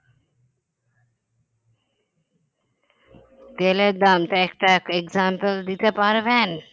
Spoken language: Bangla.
তেলের দাম তা একটা example দিতে পারবেন